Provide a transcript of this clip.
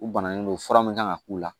U banalen don fura min kan ka k'u la